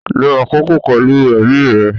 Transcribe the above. Lo akoko pẹlu ẹbi rẹ.